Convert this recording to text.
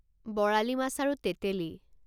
বৰালী মাছ আৰু তেঁতেলী